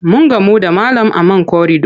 Mun gamu da malam a man korido.